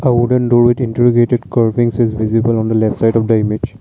a wooden door with interrogative curvings is visible on the left side of the image.